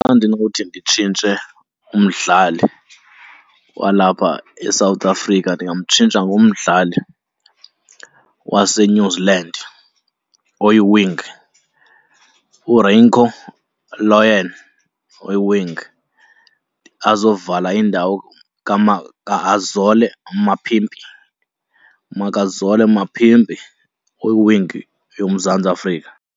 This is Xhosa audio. Xa ndinowuthi nditshintshe umdlali walapha eSouth Africa ndingamtshintsha ngomdlali waseNew Zealand oyi-wing, uRieko Ioane oyi-wing. Azovala indawo kaAzole Mapimpi, Makazole Mapimpi oyi-wing yoMzantsi Afrika.